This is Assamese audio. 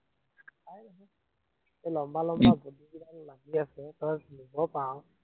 এৰ লম্বা লম্বা বস্তুখিনি উম লাগি আছে, তই ছিঙিব পাৰ